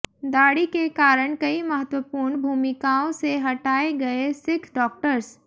दाढ़ी के कारण कई महत्वपूर्ण भूमिकाओं से हटाए गए सिख डॉक्टर्स